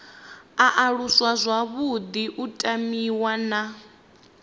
aluswa zwavhuḓi u tamiwa na